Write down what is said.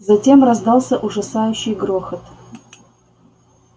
затем раздался ужасающий грохот